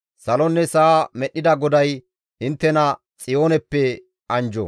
Salonne sa7a medhdhida GODAY inttena Xiyooneppe anjjo.